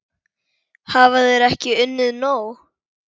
Hafa þeir ekki unnið nóg?